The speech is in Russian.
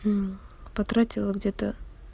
потратила где-то